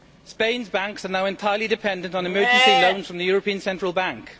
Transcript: Spain's banks are now entirely dependent on emergency loans from the European Central Bank.